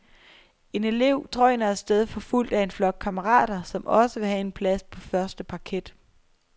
En elev drøner af sted forfulgt af en flok kammerater, som også vil have en plads på første parket.